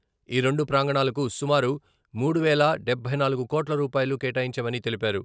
ఈ రెండు ప్రాంగణాలకు సుమారు మూడు వేల డబ్బై నాలుగు కోట్ల రూపాయలు కేటాయించామని తెలిపారు.